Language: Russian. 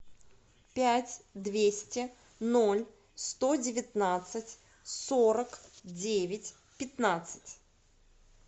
пять двести ноль сто девятнадцать сорок девять пятнадцать